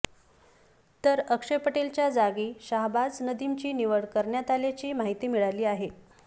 तर अक्षय पटेलच्या जागी शाहबाज नदीमची निवड करण्यात आल्याची माहिती मिळाली आहे